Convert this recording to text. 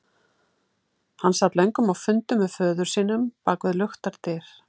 Hann sat löngum á fundum með föður sínum bak við luktar dyr.